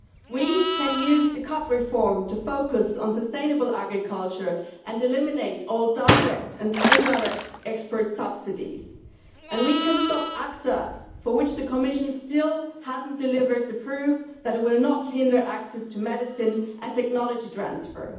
We can use the CAP reform to focus on sustainable agriculture and eliminate all direct and indirect export subsidies and we can stop ACTA, for which the Commission still has not delivered the proof that it will not hinder access to medicine and technology transfer.